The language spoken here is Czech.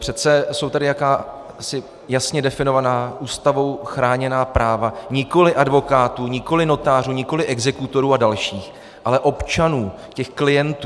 Přece jsou tady jakási jasně definovaná Ústavou chráněná práva, nikoliv advokátů, nikoliv notářů, nikoliv exekutorů a dalších, ale občanů, těch klientů.